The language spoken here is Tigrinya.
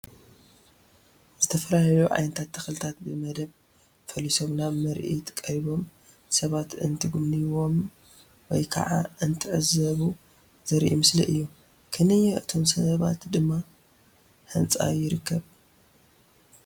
ዝተፈላለዩ ዓይነት ተኽልታት ብ መደብ ፈሊሶም ናብ ምርኢት ቀሪቦም ሰባት እንትጉብንይዎም ወይ ከዓ እንትዕዘቡ ዘርኢ ምስሊ እዩ፡፡ ክንየ እቶም ሰባት ድማ ህንፃ ይርከብ፡፡